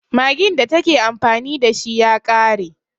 Maggin da ta ke amfani da shi ya ƙare.